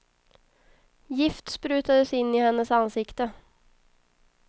Gift sprutades in i hennes ansikte.